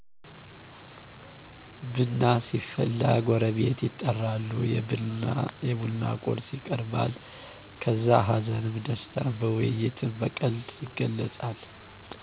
ብና ሲፈላ ጎረቤት ይጠራሉ የብና ቁርስ ይቀርባል ከዛ ሀዘንም ደስታም በውይይትም በቀልድ ይገለፃል